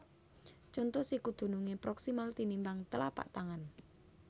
Conto Siku dunungé proksimal tinimbang tlapak tangan